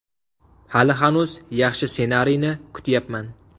Hali hanuz yaxshi ssenariyni kutyapman.